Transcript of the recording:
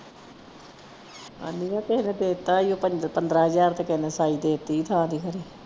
ਅੰਨੀਏ ਕਿਹੇ ਨੇ ਦੇਤਾ ਈ ਉਹ ਪੰਦਰਾਂ ਹਜ਼ਾਰ ਤੇ ਕਿਹੇ ਨੇ ਸਾਈ ਦੇਤੀ ਥਾਂ ਦੀ ਹਰੇ।